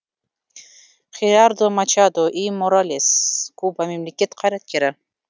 херардо мачадо и моралес куба мемлекет қайраткері